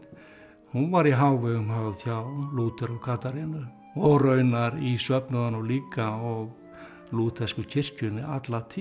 hún var í hávegum höfð hjá Lúther og Katarínu og raunar í söfnuðunum líka og lúthersku kirkjunni alla tíð